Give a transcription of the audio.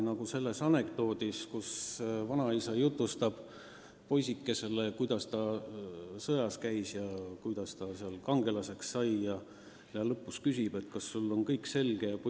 Nagu selles anekdoodis, kus vanaisa jutustab poisikesele, kuidas ta sõjas käis ja kuidas ta kangelaseks sai, ja lõpuks küsib: "Kas sul on nüüd kõik selge?